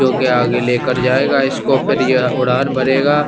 जो के आगे लेकर जायेगा इसको फिर ये उड़ान भरेगा--